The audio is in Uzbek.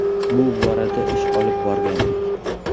Bu borada ish olib borgandik.